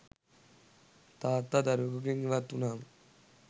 තාත්තා දරුවෙකුගෙන් ඉවත් වුනාම